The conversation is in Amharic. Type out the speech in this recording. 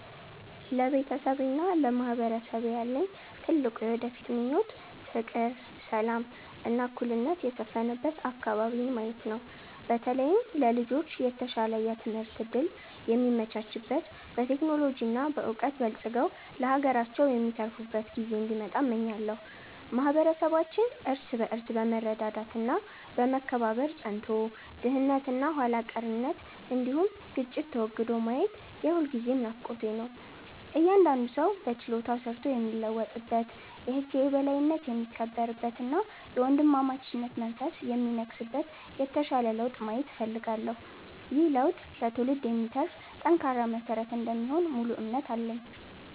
ለቤተሰቤና ለማህበረሰቤ ያለኝ ትልቁ የወደፊት ምኞት ፍቅር፣ ሰላም እና እኩልነት የሰፈነበት አከባቢን ማየት ነው። በተለይም ለልጆች የተሻለ የትምህርት እድል የሚመቻችበት፣ በቴክኖሎጂ እና በዕውቀት በልጽገው ለሀገራቸው የሚተርፉበት ጊዜ እንዲመጣ እመኛለሁ። ማህበረሰባችን እርስ በርስ በመረዳዳት እና በመከባበር ጸንቶ፣ ድህነት እና ኋላ ቀርነት እንዲሁም ግጭት ተወግዶ ማየት የሁልጊዜም ናፍቆቴ ነው። እያንዳንዱ ሰው በችሎታው ሰርቶ የሚለወጥበት፣ የህግ የበላይነት የሚከበርበት እና የወንድማማችነት መንፈስ የሚነግስበት የተሻለ ለውጥ ማየት እፈልጋለሁ። ይህ ለውጥ ለትውልድ የሚተርፍ ጠንካራ መሰረት እንደሚሆን ሙሉ እምነት አለኝ።